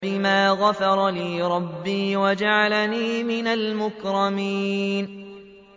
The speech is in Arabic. بِمَا غَفَرَ لِي رَبِّي وَجَعَلَنِي مِنَ الْمُكْرَمِينَ